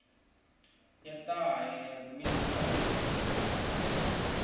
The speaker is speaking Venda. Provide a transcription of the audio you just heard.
ya ṱahe ya dziminisiṱa u